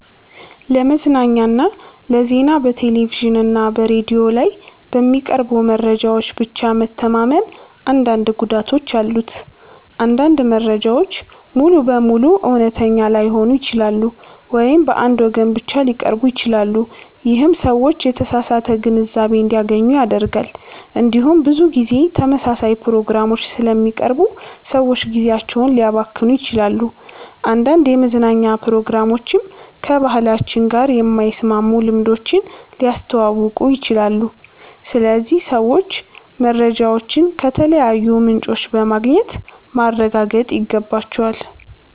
ለመዝናኛና ለዜና በቴሌቪዥን እና በሬዲዮ ላይ በሚቀርቡ መረጃዎች ብቻ መተማመን አንዳንድ ጉዳቶች አሉት። አንዳንድ መረጃዎች ሙሉ በሙሉ እውነተኛ ላይሆኑ ይችላሉ ወይም በአንድ ወገን ብቻ ሊቀርቡ ይችላሉ። ይህም ሰዎች የተሳሳተ ግንዛቤ እንዲያገኙ ያደርጋል። እንዲሁም ብዙ ጊዜ ተመሳሳይ ፕሮግራሞች ስለሚቀርቡ ሰዎች ጊዜያቸውን ሊያባክኑ ይችላሉ። አንዳንድ የመዝናኛ ፕሮግራሞችም ከባህላችን ጋር የማይስማሙ ልምዶችን ሊያስተዋውቁ ይችላሉ። ስለዚህ ሰዎች መረጃዎችን ከተለያዩ ምንጮች በማግኘት ማረጋገጥ ይገባቸዋል።